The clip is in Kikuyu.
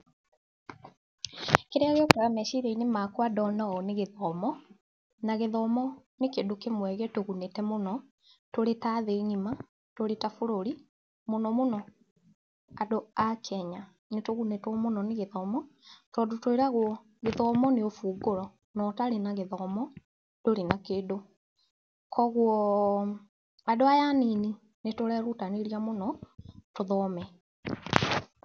Kĩrĩa gĩũkaga meciria-inĩ makwa ndona ũũ nĩ gĩthomo, na gĩthomo nĩ kĩndũ kĩmwe gĩtũgunĩte mũno, tũrĩ ta thĩ ng'ima, tũrĩ ta bũrũri, mũno mũno andũ a Kenya. Nĩ tugunĩtwo mũno níĩgĩthomo, tondũ tũĩragwo gĩthomo nĩ ũbungũro. Na ũtarĩ na gĩthomo, ndũrĩ na kĩndũ. Kũguo andũ aya anini nĩ tũrerutanĩria mũno, tũthome.